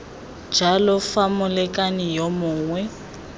jalo fa molekane yo mongwe